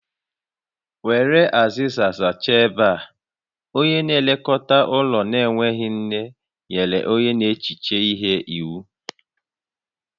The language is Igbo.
Were azịza zachaa ebe a! Onye na-elekọta ụlọ na-enweghị nne nyere onye n'echiche ihe iwu